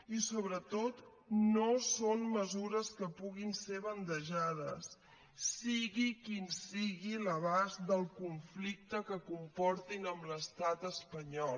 i sobretot no són mesures que puguin ser bandejades sigui quin sigui l’abast del conflicte que comportin amb l’estat espanyol